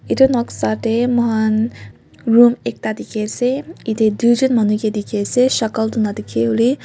etu noksa teh man room ekta dekhi ase atu duijon hone ke ase shakal tu na dekhi.